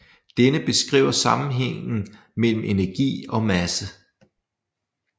Denne beskriver sammenhægngen mellem energi og masse